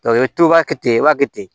i bɛ to i b'a kɛ ten i b'a kɛ ten